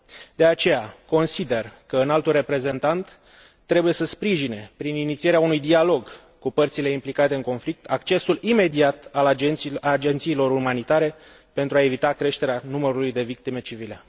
De aceea, consider că Înaltul Reprezentant trebuie să sprijine, prin inițierea unui dialog cu părțile implicate în conflict, accesul imediat al agențiilor umanitare, pentru a evita creșterea numărului de victime civile.